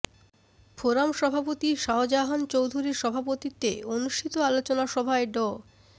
forum সভাপতি শাহজাহান চৌধুরীর সভাপতিত্বে অনুষ্ঠিত আলোচনা সভায় ড